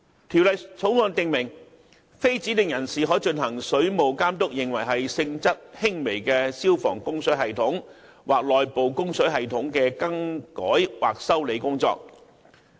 《條例草案》訂明，非指定人士可進行水務監督認為是性質輕微的消防供水系統或內部供水系統的更改或修理工作。